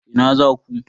Ina za ku?